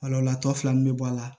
tɔ fila min bɛ bɔ a la